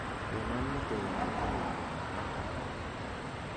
gonon metoek ab logoiwek ab barak